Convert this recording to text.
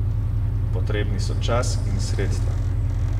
Potrebni so čas in sredstva.